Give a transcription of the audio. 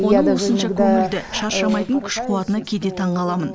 оның осынша көңілді шаршамайтын күш қуатына кейде таңғаламын